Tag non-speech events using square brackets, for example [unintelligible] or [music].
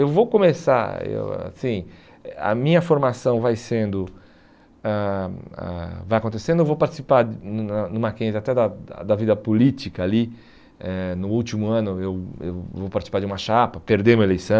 Eu vou começar, eu assim, a minha formação vai sendo, ãh ãh vai acontecendo, eu vou participar [unintelligible] no Mackenzie até da da vida política ali, eh no último ano eu eu vou participar de uma chapa, perdemos uma eleição,